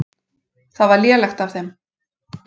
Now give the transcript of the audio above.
Það var lélegt af þeim.